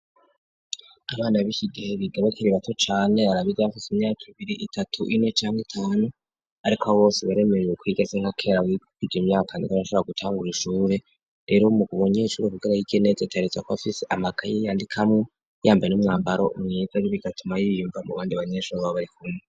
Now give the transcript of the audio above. abana b'ishigehe bigabakere ibato chane arabid bamfase imyaka ibiri itatu ine cyangwa itanu ariko h bose baremeyewe kwigaze nka kera wigikiga imyaka ndigar ashabr gutangura ishurure rero mu gubonya ishuri vugara'igenet atretza ko afise amakay'iyandikamwo yambaye n'umwambaro umwegabi bigatuma y'iyumba mu bandi banyeshuri babarikune